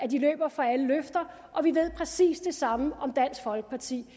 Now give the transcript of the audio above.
de løber fra alle løfter og vi ved præcis det samme om dansk folkeparti